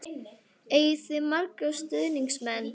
Eigið þið marga stuðningsmenn?